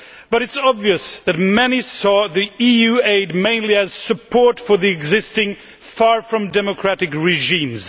but it is obvious that many saw EU aid mainly as support for the existing, far from democratic regimes.